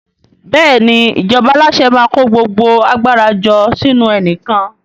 Bẹ́ẹ̀ni, ìjọba alase maa ko gbogbo agbara jo sinu enikan